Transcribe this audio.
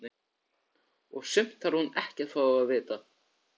Og sumt þarf hún ekkert að fá að vita.